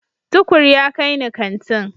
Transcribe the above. Tukur ya kai ni kantin.